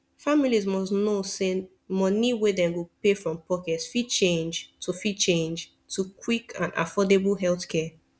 families must know say money wey dem go pay from pocket fit change to fit change to get quick and affordable healthcare